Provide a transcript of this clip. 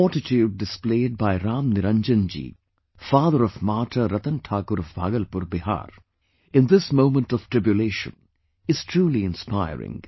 The fortitude displayed by Ram Niranjanji, father of Martyr Ratan Thakur of Bhagalpur, Bihar, in this moment of tribulation is truly inspiring